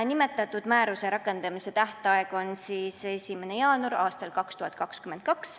Nimetatud määruse rakendamise tähtaeg on 1. jaanuar 2022.